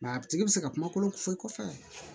a tigi bɛ se ka kumakolo fɔ i kɔfɛ